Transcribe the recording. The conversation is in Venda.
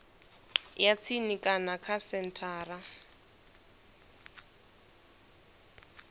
ya tsini kana kha senthara